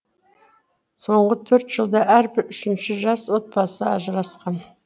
соңғы төрт жылда әрбір үшінші жас отбасы ажырасқан